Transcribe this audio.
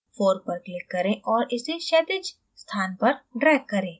4 पर click करें और इसे क्षैतिज स्थान पर drag करें